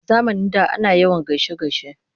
A zamanin da ana yawan gaishe-gaishe.